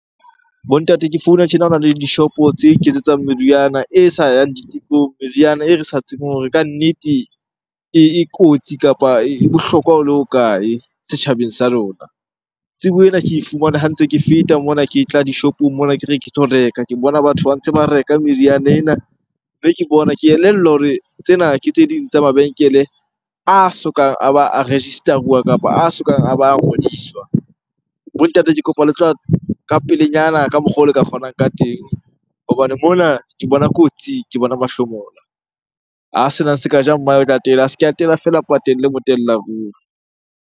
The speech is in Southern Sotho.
Bo ntate ke founa tjena hobaneng dishopo tse iketsetsang meriana e sa yang ditekong, meriana e re sa tsebeng hore kannete e kotsi kapa e bohlokwa ho le hokae setjhabeng sa rona. Tsebo ena ke e fumane ha ntse ke feta mona ke tla di shopong mona ke re ke tlo reka. Ke bona batho ba ntse ba reka meriana ena mme ke bona, ke elellwa hore tsena ke tse ding tsa mabenkele a sokang a ba a register-uwa kapa a sokang a ba a ngodiswa. Bo ntate ke kopa le tla ka pelenyana ka mokgwa o le ka kgonang ka teng hobane mona ke bona kotsi, ke bona mahlomola. A sena se ka e ja , a se ke atela feela empa telle motella ruri.